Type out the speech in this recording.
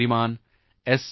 Shriman S